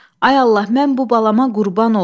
Ay Allah, mən bu balama qurban olum.